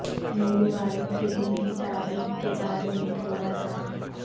میرے والد کے دن کی تاریخ کے بارے میں تھوڑا سا